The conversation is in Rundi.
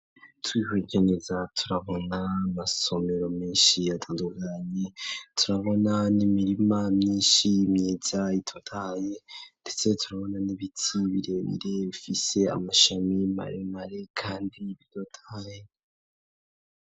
Twihweje neza turabona amasomero menshi yatandukanye turabona n'imirima myinshi myidza itotaye ndetse turabona n'ibitsi birebire bifise amashami maremare kandi bitotahaye.